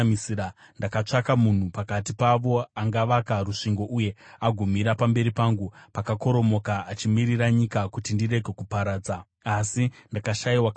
“Ndakatsvaka munhu pakati pavo angavaka rusvingo uye agomira pamberi pangu, pakakoromoka, achimirira nyika kuti ndirege kuparadza, asi ndakashayiwa kana mumwe.